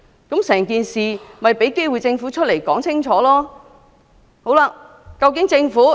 這項議案旨在給予政府機會清楚交代整件事。